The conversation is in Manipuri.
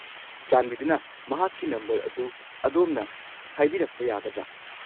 ꯆꯥꯟꯕꯤꯗꯨꯅ ꯃꯍꯥꯛꯀꯤ ꯅꯝꯕꯔ ꯑꯗꯨ ꯑꯗꯣꯝꯅ ꯍꯥꯏꯕꯤꯔꯛꯄ ꯌꯥꯒꯗ꯭ꯔꯥ?